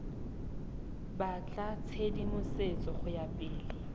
batla tshedimosetso go ya pele